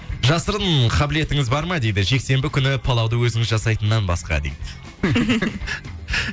жасырын қабілетіңіз бар ма дейді жексенбі күні палауды өзіңіз жасайтыннан басқа дейді